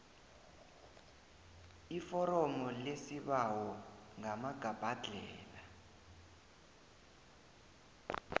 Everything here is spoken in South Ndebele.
iforomo lesibawo ngamagabhadlhela